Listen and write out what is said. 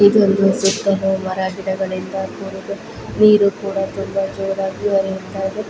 ಇದು ಮರ ಗಿಡಗಳುಆರು ನೀರು ಕೊಡುವ ರಾಜೀವರಾಜ್ಯದ ಐದು--